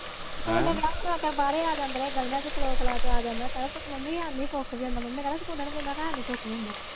ਸਕੂਲੇ ਬਹਿ ਖਲੋ ਕੇ ਬਾਹਰੇ ਆ ਜਾਂਦੇ ਰਹੇ ਗਲੀਆਂ ਚ ਖਲੋ ਖਲੂ ਕੇ ਆ ਜਾਂਦੇ ਕਹਿਣਾ ਮੰਮੀ ਹੈਨੀ ਕੁੱਖ ਵੀ ਆਉਂਦਾ ਮੰਮੀ ਨੇ ਕਹਿਣਾ ਸਕੂਲੇ ਨੀ ਗਈ ਮੈਂ ਕਹਿਣਾ ਹੈਨੀ ਕੁੱਖ ਨੀ ਆਉਂਦਾ।